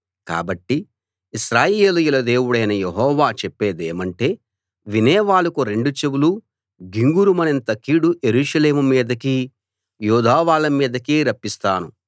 కాబట్టి ఇశ్రాయేలీయుల దేవుడైన యెహోవా చెప్పేదేమంటే వినేవాళ్ళకు రెండు చెవులూ గింగురుమనేంత కీడు యెరూషలేము మీదకీ యూదావాళ్ళ మీదకీ రప్పిస్తాను